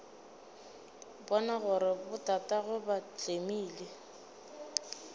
bona gore botatagwe ba tlemile